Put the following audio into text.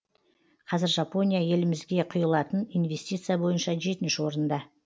қазір жапония елімізге құйылатын инвестиция бойынша жетінші орында